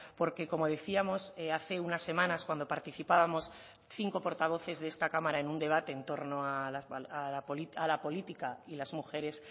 porque como decíamos hace unas semanas cuando participábamos cinco portavoces de esta cámara en un debate en torno a la política y las mujeres